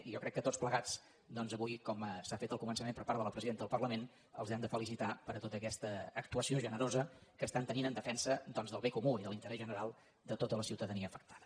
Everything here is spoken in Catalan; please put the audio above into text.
jo crec que tots plegats avui com s’ha fet al començament per part de la presidenta del parlament els hem de felicitar per tota aquesta actua·ció generosa que estan tenint en defensa del bé comú i de l’interès general de tota la ciutadania afectada